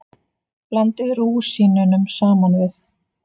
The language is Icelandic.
Blandið rúsínunum saman við.